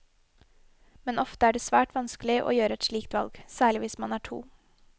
Men ofte er det svært vanskelig å gjøre et slikt valg, særlig hvis man er to.